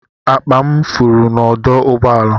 Akpa m furu n'ọdụ ụgbọ ala.